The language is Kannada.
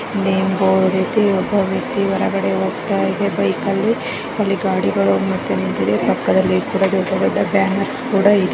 ಇಲ್ಲೇ ಬೋರ್ಡ್ ಇತ್ತು. ಇಲ್ ಒಬ್ಬ ವ್ಯಕ್ತಿ ಹೊರಗಡೆ ಹೋಗ್ತಾಯಿದೆ ಬೈಕ್ ಅಲ್ಲಿ. ಅಲ್ಲಿ ಗಾಡಿಗಳು ಮತ್ತೆ ನಿಂತಿದೆ ಪಕ್ಕದಲ್ಲಿ ಬನ್ನೇರ್ಸ್ ಕೂಡ ಇದೆ .